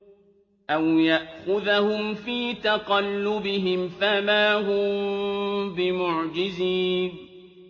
أَوْ يَأْخُذَهُمْ فِي تَقَلُّبِهِمْ فَمَا هُم بِمُعْجِزِينَ